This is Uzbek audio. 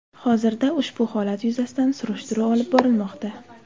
Hozirda ushbu holat yuzasidan surishtiruv olib borilmoqda.